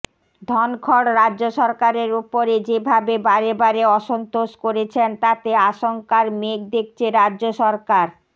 ধনখড় রাজ্য সরকারের ওপরে যেভাবে বারেবারে অসন্তোষ করেছেন তাতে আশঙ্কার মেঘ দেখছে রাজ্য সরকার